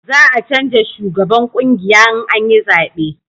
za a canja shugaban ƙungiya in an yi zabe